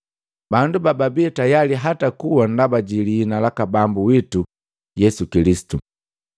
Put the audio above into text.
bandu bababii tayali hata kuwa ndaba ji liina laka Bambu witu Yesu Kilisitu.